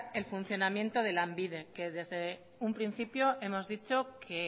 en funcionamiento de lanbide que desde un principio hemos dicho que